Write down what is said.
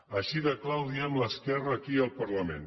així de clar ho diem l’esquerra aquí al parlament